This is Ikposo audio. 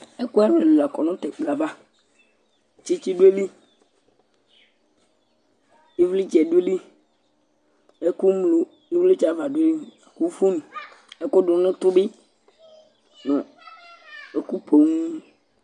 ɛkò ɛlò ɛlò la kɔ no t'ɛkplɔ yɛ ava tsitsi do ayili ivlitsɛ do ayili ɛkò ŋlo ivlitsɛ ava do ayili la kò fon ɛkò do n'utò bi no ɛkò poŋ